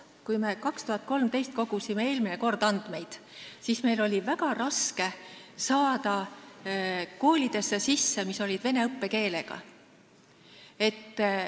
Kui me eelmine kord, 2013. aastal, andmeid kogusime, siis oli meil väga raske pääseda vene õppekeelega koolidesse.